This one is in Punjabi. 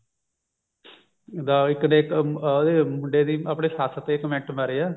ਦਾ ਇੱਕ ਨੇ ਇੱਕ ਅਮ ਮੁੰਡੇ ਦੀ ਆਪਣੀ ਸੱਸ ਤੇ comment ਮਾਰਿਆ